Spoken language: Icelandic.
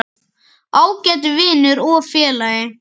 Ágæti vinur og félagi.